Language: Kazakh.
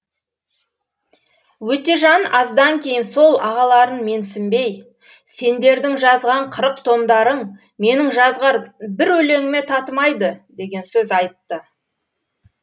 өтежан аздан кейін сол ағаларын менсінбей сендердің жазған қырық томдарың менің жазған бір өлеңіме татымайды деген сөз айтты